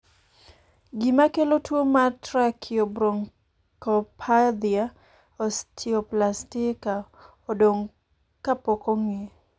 gima kelo tuo mar trakiobronchopathia osteoplastika odong' ka pok ong'e